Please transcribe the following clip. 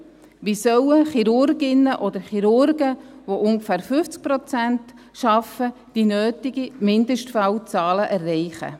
Wie sollen Chirurginnen oder Chirurgen, welche ungefähr 50 Prozent arbeiten, die nötigen Mindestfallzahlen erreichen?